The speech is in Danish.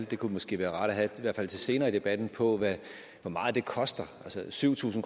det kunne måske være rart at have i hvert fald til senere i debatten hvor meget det koster altså syv tusind